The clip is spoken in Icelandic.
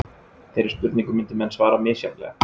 Þeirri spurningu myndu menn svara misjafnlega.